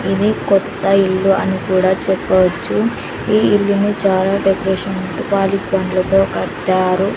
ఇది కొత్త ఇల్లు అని కూడా చెప్పవచ్చు ఈ ఇల్లును చాలా డెకరేషన్ కట్టారు.